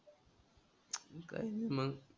काय मग?